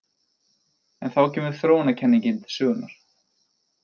En þá kemur þróunarkenningin til sögunnar.